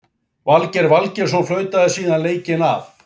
Valgeir Valgeirsson flautaði síðan leikinn af.